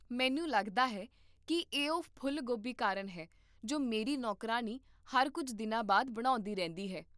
ਮੈਨੂੰ ਲੱਗਦਾ ਹੈ ਕਿ ਇਹ ਉਹ ਫੁੱਲ ਗੋਭੀ ਕਾਰਨ ਹੈ ਜੋ ਮੇਰੀ ਨੌਕਰਾਣੀ ਹਰ ਕੁੱਝ ਦਿਨਾਂ ਬਾਅਦ ਬਣਾਉਂਦੀ ਰਹਿੰਦੀ ਹੈ